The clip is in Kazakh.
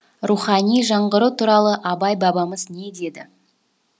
рухани жаңғыру туралы абай бабамыз не деді